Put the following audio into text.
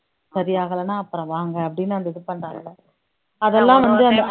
சரியாகலன்னா அப்புறம் வாங்க அப்படின்னு அந்த இது பண்றாங்கல்ல அதெல்லாம் வந்து